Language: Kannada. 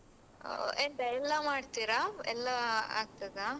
ಹ ಎಂತ ಎಲ್ಲ ಮಾಡ್ತೀರ ಎಲ್ಲ ಆಗ್ತದ?